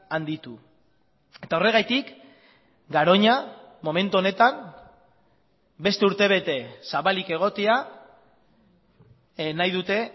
handitu eta horregatik garoña momentu honetan beste urte bete zabalik egotea nahi dute